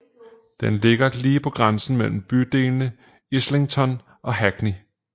Den ligger lige på grænsen mellem bydelene Islington og Hackney